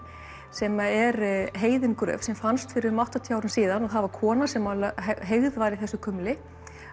sem er heiðin gröf sem fannst fyrir um áttatíu árum síðan það var kona sem heygð var í þessu kumli